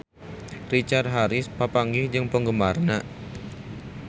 Richard Harris papanggih jeung penggemarna